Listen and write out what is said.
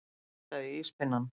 Hann nartaði í íspinnann.